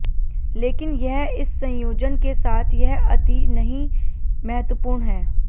लेकिन यह इस संयोजन के साथ यह अति नहीं महत्वपूर्ण है